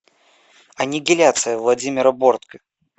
аннигиляция владимира бортко